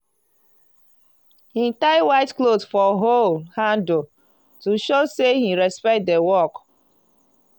he tie white cloth for hoe handle to show say he respect the work.